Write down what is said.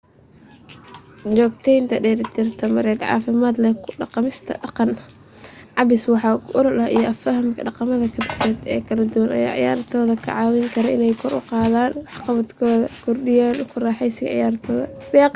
joogtaynta dheelitir tamareed caafimaad leh ku dhaqmista dhaqan cabbis wax ku ool ah iyo fahamka dhaqamada kaabiseed ee kala duwan ayaa ciyaartoyda ka caawin kara inay kor u qaadaan waxqabadkooda kordhiyaana ku raaxeysiga ciyaartooda